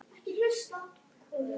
En skyldi þetta bragðast eins?